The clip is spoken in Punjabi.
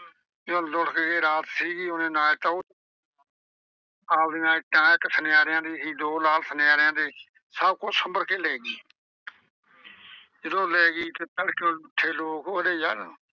ਤੇ ਜਦੋਂ ਲੁੱਟਕ ਗਏ, ਰਾਤ ਸੀਗੀ ਓਹਨੇ ਨਾਲੇ ਤਾਂ ਆਵਦੇ ਨਾਲ ਇੱਕ ਸੁਨਿਆਰਿਆਂ ਦੀ ਸੀ ਦੋ ਸੁਨਿਆਰਿਆਂ ਦੇ ਸੀ ਸਭ ਕੁਝ ਸੁੰਭਰ ਕੇ ਲੈ ਗਈ। ਜਦੋਂ ਲੈ ਗਈ ਤੇ ਤੜਕੇ ਉੱਠੇ ਲੋਕ ਉਹ ਆਂਹਦੇ ਯਾਰ।